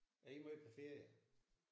Er I meget på ferie?